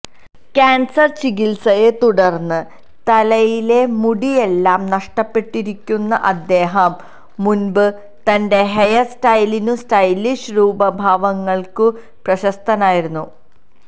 cancer ചികിത്സയെ തുടർന്ന് തലയിലെ മുടിയെല്ലാം നഷ്ടപ്പെട്ടിരിക്കുന്ന അദേഹം മുൻപ് തന്റെ ഹെയർ സ്റ്റൈലിനും സ്റ്റൈലിഷ് രൂപഭാവങ്ങൾക്കും പ്രശസ്തനായിരുന്നു